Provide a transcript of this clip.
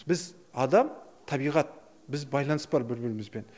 біз адам табиғат біз байланыс бар бір бірімізбен